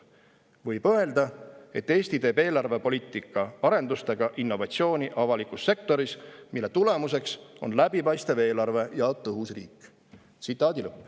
Võib öelda, et Eesti teeb eelarvepoliitika arendustega innovatsiooni avalikus sektoris, mille tulemuseks on läbipaistev eelarve ja tõhus riik!